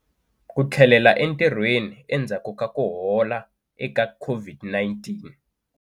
Ku tlhelela entirhweni endzhaku ka ku hola eka COVID-19.